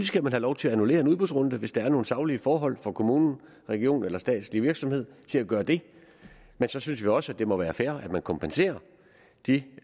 skal have lov til at annullere en udbudsrunde hvis der er nogle saglige forhold fra kommunen regionen eller en statslig virksomhed til at gøre det men så synes vi også at det må være fair at man kompenserer de